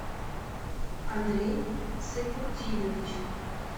андрей сайпудинович